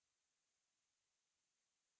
और आप क्या देखते हैं